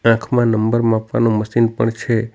આંખમાં નંબર માપવાનું મશીન પણ છે.